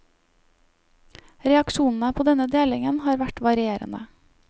Reaksjonene på denne delingen har vært varierende.